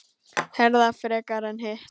Herða frekar en hitt?